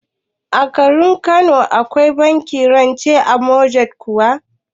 A garin Kano Akwai bankin rance na motgej kuwa?